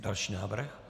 Další návrh?